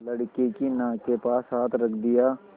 लड़के की नाक के पास हाथ रख दिया